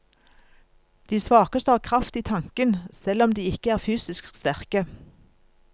De svakeste har kraft i tanken, selv om de ikke er fysisk sterke.